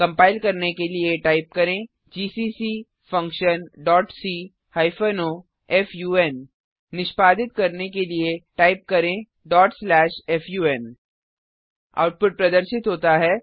compile करने के लिए टाइप करें GCC function dot C hyphen O fun निष्पादित करने के लिए टाइप करें fun आउटपुट प्रदर्शित होता है